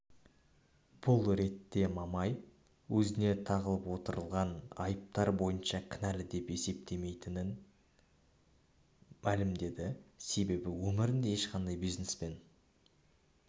бұл ретте мамай өзіне тағылып отырған айыптар бойынша кінәлі деп есептемейтінін мәлімдеді себебі өмірінде ешқашан бизнеспен